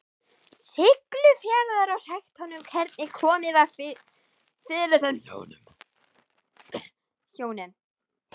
Siglufjarðar, og sagt honum hvernig komið var fyrir þeim hjónum.